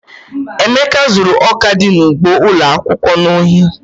Emeka zuru ọka dị n'ugbo ụlọ akwụkwọ n'ohi.